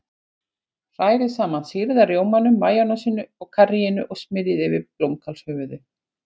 Hrærið saman sýrða rjómanum, majónesinu og karríinu og smyrjið yfir blómkálshöfuðið.